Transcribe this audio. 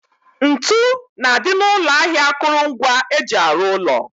Ntu na-adị n'ụlọ ahịa akụrụngwa eji arụ ụlọ